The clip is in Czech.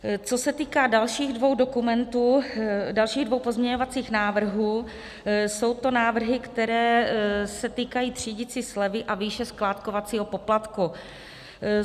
Co se týká dalších dvou dokumentů, dalších dvou pozměňovacích návrhů, jsou to návrhy, které se týkají třídicí slevy a výše skládkovacího poplatku.